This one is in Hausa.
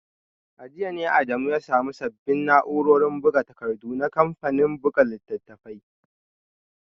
A jiya ne Adamu ya samu sabbin na’urorin buga takardu na kamfanin buga littattafai